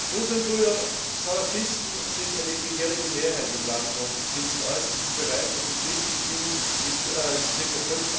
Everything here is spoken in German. Muslimbrüder, Salafisten sind eine gefährliche Mehrheit im Land und sind zum Äußersten bereit, und die Christen spielen mit ca.